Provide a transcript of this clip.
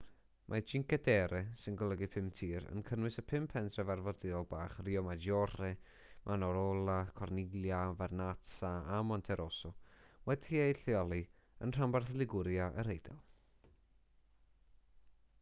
mae cinque terre sy'n golygu pum tir yn cynnwys y pum pentref arfordirol bach riomaggiore manarola corniglia vernazza a monterosso wedi'u lleoli yn rhanbarth liguria yr eidal